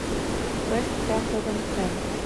вест хэм тоттенхэм